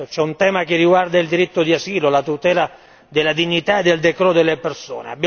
Certo, c'è un tema che riguarda il diritto di asilo, la tutela della dignità e del decoro delle persone.